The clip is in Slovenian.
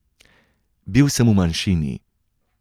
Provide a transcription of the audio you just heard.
Bil sem v manjšini.